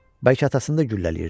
Bəlkə atasını da güllələyirdi.